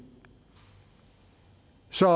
så